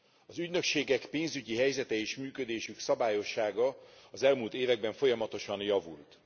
Az ügynökségek pénzügyi helyzete és működésük szabályossága az elmúlt években folyamatosan javult.